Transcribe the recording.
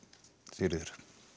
Sigríður